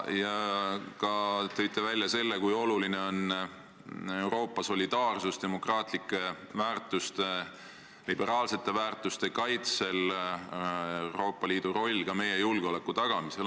Ka tõite välja selle, kui oluline on Euroopa solidaarsus demokraatlike väärtuste, liberaalsete väärtuste kaitsel ja Euroopa Liidu roll meie julgeoleku tagamisel.